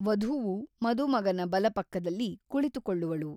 ವಧುವು ಮದುಮಗನ ಬಲಪಕ್ಕದಲ್ಲಿ ಕುಳಿತುಕೊಳ್ಳುವಳು.